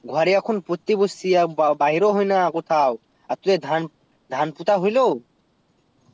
ঘরে এখন পড়তে বসছি আ বা বাইরে হয়না কোথাও আর তোদের ধান ধান পোতা হইলো